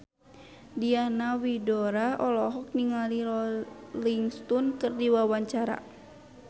Diana Widoera olohok ningali Rolling Stone keur diwawancara